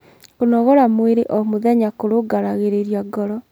kũnogora mwĩrĩ o mũthenya kurungaragirirĩa ngoro